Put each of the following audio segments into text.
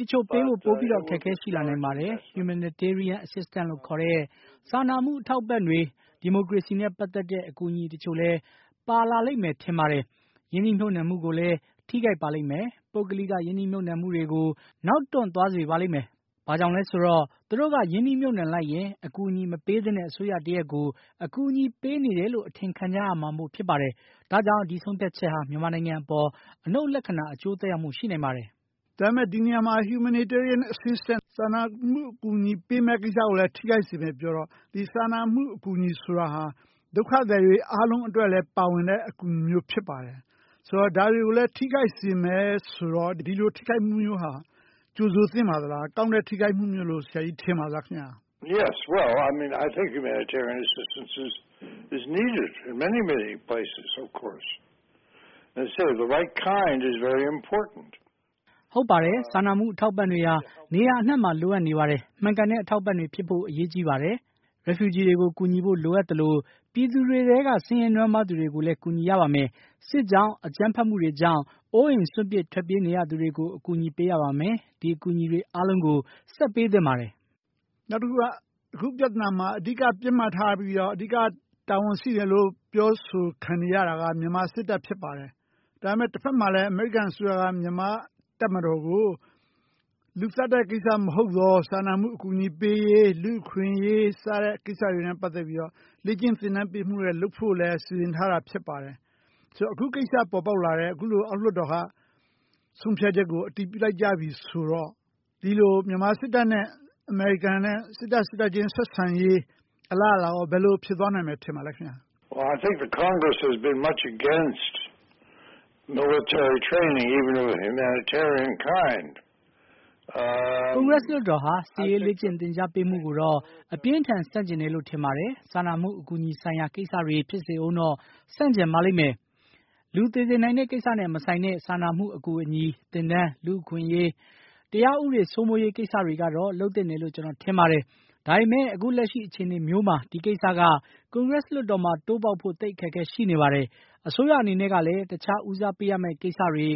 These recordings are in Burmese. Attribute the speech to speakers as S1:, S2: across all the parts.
S1: တချို့ပေးဖို့ အခက်အခဲပိုရှိလာနိုင်ပါတယ်။ Humanitarian Assistance လို့ခေါ်တဲ့ စာနာမှုအထောက်အပံ့တွေ ဒီမိုကရေစီနဲ့ ပတ်သက်တဲ့ အကူအညီတချို့လည်း ပါလာလိမ့်မယ်ထင်ပါတယ်။ ရင်းနှီးမြုပ်နှံမှုကိုလည်း ထိခိုက်ပါလိမ့်မယ်။ ပုဂ္ဂလိက ရင်းနှီးမြုပ်နှံမှုကိုလည်းနောက်တွန့်သွားစေပါလိမ့်မယ်။ ဘာကြောင့်လဲဆိုတော့ သူတို့ရင်းနှီးမြုပ်နှံလိုက်ရင် အကူအညီမပေးသင့်တဲ့ အစိုးရတရပ်ကို အကူအညီပေးနေတယ်လို့ အထင်ခံကြရမှာပါ။ ဒါကြောင့် ဒီဆုံးဖြတ်ချက်ဟာ မြန်မာအပေါ် အနုတ်လက္ခဏာ သက်ရောက်မှုရှိနိုင်ပါတယ်။
S2: ဒါပေမယ့် ဒီအပေါ်မှာ Humanitarian Assistance လို့ခေါ်တဲ့ စာနာမှုအထောက်အပံ့တွေ ပေးမယ့်ကိစ္စကိုလည်း ထိခိုက်စေမယ်ပြောတော့ စာနာမှုအကူအညီဆိုတာ ဒုက္ခသည်တွေအားလုံးအတွက်လည်း ပါဝင်တဲ့ အကူအညီဖြစ်ပါတယ်။ ဒါတွေကိုလည်း ထိခိုက်စေမယ်ဆိုတော့ ဒီလိုထိခိုက်မှုမျိုးဟာ ကြိုဆိုသင့်ပါသလား၊ ကောင်းတဲ့ ထိခိုက်မှုမျိုးလို့ ထင်ပါသလား။
S1: ဟုတ်ပါတယ် စာနာမှုအထောက်အပံ့တွေ ဟာ နေရာအနှံ့မှာလိုနေပါတယ် မှန်ကန်တဲ့ အထောက်အပံ့တွေ ဖြစ်ဖို့အရေးကြီးပါတယ်။ Refugee တွေကို ကူညီဖို့လိုအပ်သလို ပြည်သူတွေထဲက ဆင်းရဲနွမ်းပါးသူတွေကိုလည်း ကူညီရပါမယ်။ စစ်ကြောင့် အကြမ်းဖက်မှုတွေကြောင့် အိုးအိမ်စွန့်ခွာနေသူတွေကို ကူညီရပါမယ်။ ဒီအကူအညီအားလုံးကို ဆက်ပေးသင့်ပါတယ်။
S2: အခုပြဿနာမှာ အဓိက ပစ်မှတ်ထားပြီးတော့ အဓိကတာဝန်ရှိတယ်လို့ ပြောဆိုခံနေရတာက မြန်မာစစ်တပ်ဖြစ်ပါတယ်။ ဒါပေမယ့် တဖက်မှာလည်း အမေရိကန်အစိုးရက မြန်မာတပ်မတော်ကို လူသတ်တဲ့ကိစ္စမဟုတ်သော စာနာမှုအကူအညီပေးရေး ၊ လူ့အခွင့်အရေး စတဲ့ ကိစ္စနဲ့ ပတ်သက်ပြီးတော့ လေ့ကျင့်သင်တန်းပေးဖို့လည်းစီစဉ်ထားတာဖြစ်ပါတယ်။ ဆိုတော့ အခုလိုအောက်လွှတ်တော်က ဆုံးဖြတ်ချက်ကို အတည်ပြုလိုက်ပြီဆိုတော့ မြန်မာနဲ့ အမေရိကန် စစ်တပ်ချင်းဆက်ဆံအလားအလာ ဘယ်လိုဖြစ်သွားမယ်လို့ ထင်ပါသလဲ။
S1: ကွန်ဂရက်လွှတ်တော်ဟာ စစ်ရေးလေ့ကျင့်သင်ကြားပေးမှုကိုတော့ အပြင်းအထန်ဆန့်ကျင်တယ်လို့ ထင်ပါတယ်။ စာနာမှုအကူအညီဆိုင်ရာ ကိစ္စတွေ ဖြစ်ဦးတော့ ဆန့်ကျင်ပါလိမ့်မယ်။ လူသေစေနိုင်တဲ့ ကိစ္စနဲ့ မဆိုင်တဲ့ စာနာမှုအကူအညီ သင်တန်း၊ လူ့အခွင့်အရေး ၊ တရားဥပဒေစိုးမိုးရေးကိစ္စတွေကတော့ လုပ်သင့်တယ်လို့ ကျနော်ထင်ပါတယ်။ ဒါပေမယ့် အခုလက်ရှိအခြေအနေမျိုးမှာ ဒီကိစ္စက ကွန်ဂရက်လွှတ်တော်မျိုးမှာ တိုးပေါက်ဖို့ အခက်အခဲရှိနေပါတယ်။ အစိုးရအနေနဲ့ကလည်း တခြားဦးစားပေးရမယ့် ကိစ္စတွေ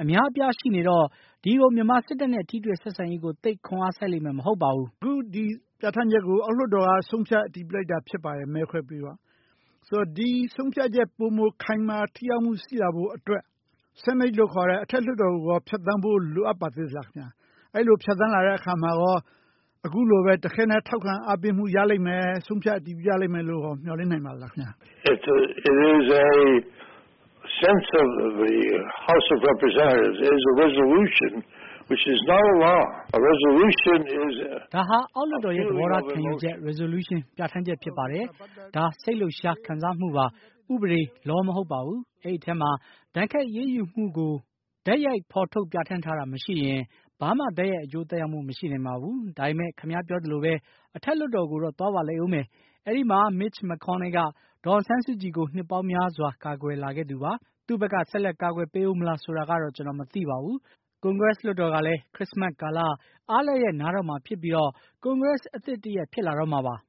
S1: အများအပြားရှိနေတော့ ဒီလိုမြန်မာစစ်တပ်နဲ့ ထိတွေ့ဆက်ဆံရေးကို သိပ်ခွန်အားစိုက်လိမ့်မယ်မဟုတ်ပါဘူး။
S2: ဒီပြဌာန်းချက်ကို အောက်လွှတ်တော်က ဆုံးဖြတ်အတည်ပြုလိုက်တာဖြစ်ပါတယ် မဲခွဲပြီးတော့။ ဒီဆုံးဖြတ်ချက် ပိုမိုခိုင်မာထိရောက်မှုရှိဖို့အတွက် Senate လို့ခေါ်တဲ့ အထက်လွှတ်တော်ကိုရော ဖြတ်သန်းဖို့ လိုပါသေးသလား။ အဲလိုဖြတ်သန်းလာရင်ရော အခုတခဲနက်ထောက်ခံအားပေးမှုရလိမ့်မယ်၊ ဆုံးဖြတ်အတည်ပြုမှု ရလိမ့်မယ်လို့ မျှော်လင့်နိုင်ပါသလားခင်ဗျ။
S1: ဒါဟာ အောက်လွှတ်တော်ရဲ့ သဘောထားခံယူချက် Resolution ပြဌာန်းချက်ဖြစ်ပါတယ်။ ဒါစိတ်လှုပ်ရှားခံစားမှုပါ ၊ ဥပဒေ Law မဟုတ်ပါဘူး အဲဒီအထဲမှာ ဒဏ်ခတ်အရေးယူမှုကို တိုက်ရိုက်ပြဌာန်းထားတာမရှိရင် ဘာမှ တိုက်ရိုက်အကျိုးသက်ရောက်နိုင်မှာ မဟုတ်ပါဘူး။ ဒါပေမယ့် ခင်ဗျားပြောသလိုပဲ အထက်လွှတ်တော်ကိုတော့ သွားပါလိမ့်ဦးမယ်။ အဲဒီမှာ Mitch Mcconnell က ဒေါ်အောင်ဆန်းစုကြည်ကို နှစ်ပေါင်းများစွာ ကာကွယ်လာသူပါ။ သူ့ဘက်က ဆက်လက်ကာကွယ်ပေးဦးမလားဆိုတာကတော့ ကျနော်မသိပါဘူး။ ကွန်ဂရက်လွှတ်တော်ကလည်း Christmas ကာလ အားလပ်ရက်နားတော့မှာဖြစ်ပြီးတော့ ကွန်ဂရက်အသစ်တရပ်ဖြစ်လာတော့မှာပါ။